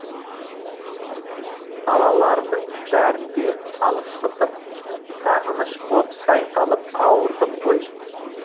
далалардың бәрін де талықсытып сағыныш боп шайқалып ауырдым ғой